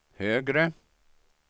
högre